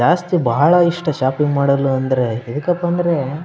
ಜಾಸ್ತಿ ಬಹಳ ಎಷ್ಟು ಶಾಪ್ಪಿಂಗ್ ಮಾಡುದಂದ್ರೆ ಮೇಕಪ್ ಅಂದ್ರೆ --